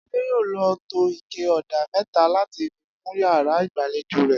Adé yóò lò tó ike ò̩dà mé̩ta láti fi kun yàrá ìgbàlejò rè̩